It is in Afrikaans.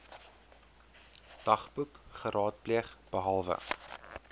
dagboek geraadpleeg behalwe